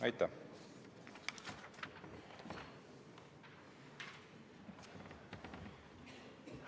Aitäh!